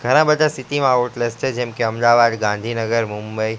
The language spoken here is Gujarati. ઘણા બધા સિટી માં આઉટલેસ છે જેમકે અમદાવાદ ગાંધીનગર મુંબઈ.